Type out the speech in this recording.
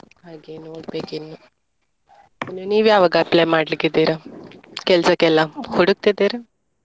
ಹಾಗೆ ನೋಡ್ಬೇಕು ಇನ್ನು. ಇನ್ನು ನೀವ್ ಯಾವಾಗ apply ಮಾಡ್ಲಿಕ್ಕಿದ್ದೀರಾ ಕೆಲ್ಸಕ್ಕೆಲ್ಲ ಹುಡುಕ್ತಿದ್ದೀರಾ?